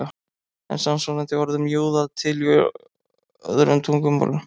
Er samsvarandi orð um júða til í öðrum tungumálum?